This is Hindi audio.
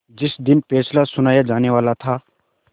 जिस दिन फैसला सुनाया जानेवाला था